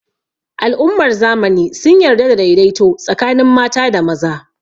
Al'ummar zamani sun yarda da daidaito tsakanin mata da maza